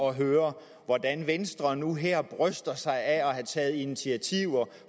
at høre hvordan venstre nu her bryster sig af at have taget initiativer